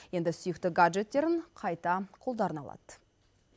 енді сүйікті гаджеттерін қайта қолдарына алады